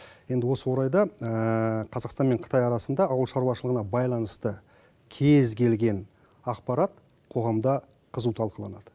енді осы орайда қазақстан мен қытай арасында ауыл шаруашылығына байланысты кез келген ақпарат қоғамда қызу талқыланады